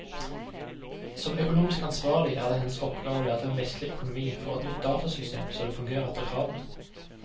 Som økonomisk ansvarlig er det hennes oppgave å lære dem vestlig økonomi for et nytt datasystem så det fungerer etter kravene.